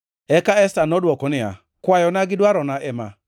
Eka Esta nodwoko niya, Kwayona gi dwarona ema: